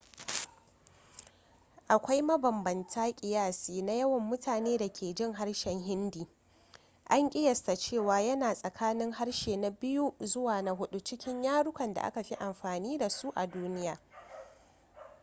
akwai mabambantan kiyasi na yawan mutanen da ke jin harshen hindi an ƙiyasta cewa yana tsakanin harshe na biyu zuwa na hudu cikin yarukan da aka fi amfani da su a duniya